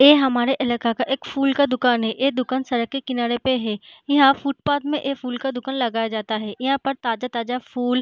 ये हमारे इलाका का एक फूल का दुकान है | ये दुकान सड़क के किनारे पे है | यहाँ फुटपाथ में एक फूल का दुकान लगाया जाता है | यहाँ पर ताजा-ताजा फूल --